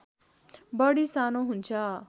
बढी सानो हुन्छ